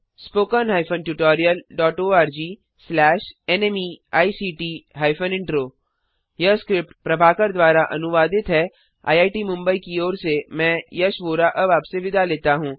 spoken hyphen tutorial dot org slash nmect hyphen intro यह script Prabhakar द्वारा अनुवादित है आईआईटी मुंबई की ओर से मैं यश वोरा अब आपसे विदा लेता हूँ